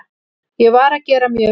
Ég var að gera mjög vel.